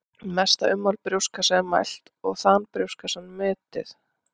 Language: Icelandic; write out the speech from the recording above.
Mesta ummál brjóstkassa er mælt og þan brjóstkassans metið.